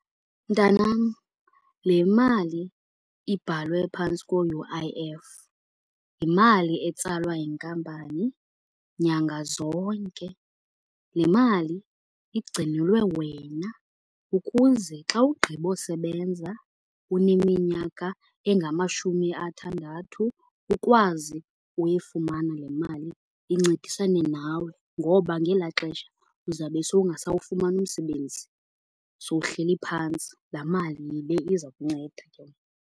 Mntanam, le mali ibhalwe phantsi ko-U_I_F yimali etsalwa yinkampani nyanga zonke. Le mali igcinelwe wena ukuze xa ugqiba usebenza uneminyaka engamashumi athandathu ukwazi uyifumana le mali incedisane nawe ngoba ngelaa xesha uzawube sowungasawufumani umsebenzi, sowuhleli phantsi. Laa mali yile iza kunceda ke.